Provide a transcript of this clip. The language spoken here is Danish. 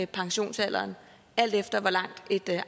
pensionsalderen alt efter hvor langt et